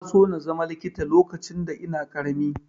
Na so na zama likita lokacin da ina ƙarami.